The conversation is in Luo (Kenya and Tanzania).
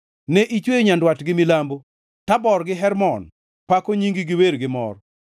Ne ichweyo nyandwat gi milambo; Tabor gi Hermon pako nyingi gi wer gi mor.